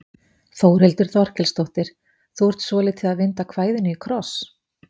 Þórhildur Þorkelsdóttir: Þú ert svolítið að vinda kvæðinu í kross?